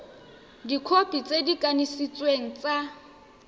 dikhopi tse di kanisitsweng tsa